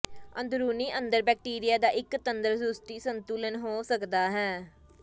ਅੰਦਰੂਨੀ ਅੰਦਰ ਬੈਕਟੀਰੀਆ ਦਾ ਇੱਕ ਤੰਦਰੁਸਤੀ ਸੰਤੁਲਨ ਹੋ ਸਕਦਾ ਹੈ